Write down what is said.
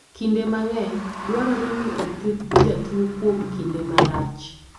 Kinde mang'eny, dwarore ni othiedh jatuo kuom kinde malach.